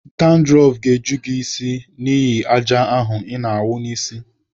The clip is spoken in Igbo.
Dandrọf ga-eju gị n'isi n'ihi àjà ahụ ị na-awụ n'isi.